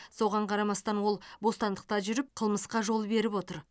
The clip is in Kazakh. соған қарамастан ол бостандықта жүріп қылмысқа жол беріп отыр